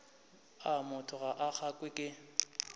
a batho ga gagwe ke